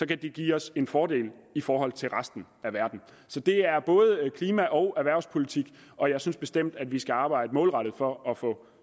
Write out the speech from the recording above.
det give os en fordel i forhold til resten af verden så det er både klima og erhvervspolitik og jeg synes bestemt at vi skal arbejde målrettet for at få